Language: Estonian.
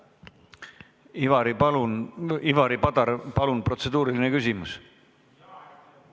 Ivari Padar, palun protseduuriline küsimus!